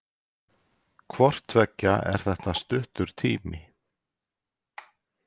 Hvort tveggja er þetta stuttur tími.